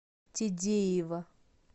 тедеева